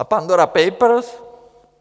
A Pandora Papers?